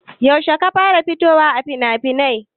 Yaushe ka fara fitowa a finafinai?